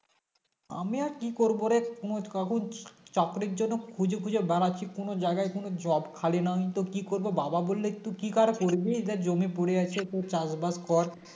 আমি র কি করবো রে কোনো কাগজ চাকরির জন্য খুঁজে খুঁজে বেড়াচ্ছি কোনো জায়গায় কোনো Job খালি নাওনি তো কি করবো বাবা বললে একটু কি আর করবি দেখ জমি পরে আছে তোর চাষবাস কর